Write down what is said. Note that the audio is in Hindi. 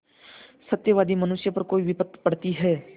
सत्यवादी मनुष्य पर कोई विपत्त पड़ती हैं